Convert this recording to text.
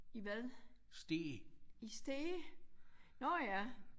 I hvad? I Stege? Nåh ja